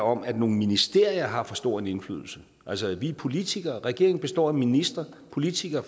om at nogle ministerier har for stor en indflydelse altså vi er politikere regeringen består af ministre politikere